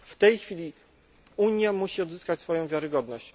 W tej chwili Unia musi odzyskać wiarygodność.